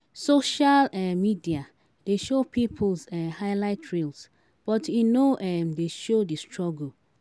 Social um media dey show people's um highlight reels, but e no um dey show di struggle.